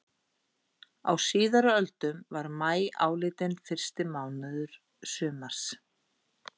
Á síðari öldum var maí álitinn fyrsti mánuður sumars.